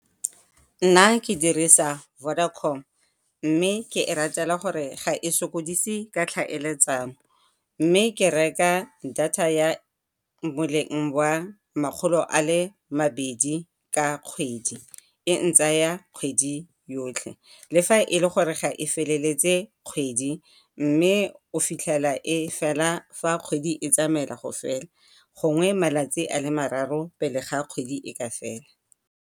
Nna ke dirisa Vodacom, mme ke e ratela gore ga e sokodise ka tlhaeletsano, mme ke reka data ya boleng makgolo a le mabedi ka kgwedi, e ntsaya kgwedi yotlhe. Le fa e le gore ga e feleletse kgwedi, mme o fitlhela e fela fa kgwedi e tsamaela go fela, gongwe malatsi a le mararo pele ga kgwedi e ka fela.